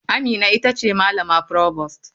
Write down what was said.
Amina ita ce malama provost.